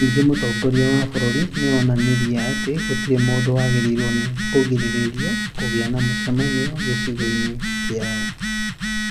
Ningĩ mũtongoria wa bũrũri nĩ onanirie atĩ gũtirĩ mũndũ wagĩrĩirwo nĩ kũgirĩrĩrio kũgĩa na mũcemanio gicigo in kiao